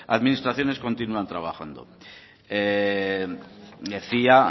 administraciones continúan trabajando decía